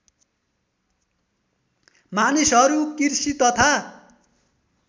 मानिसहरू कृषि तथा